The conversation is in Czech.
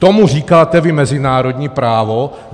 Tomu říkáte vy mezinárodní právo?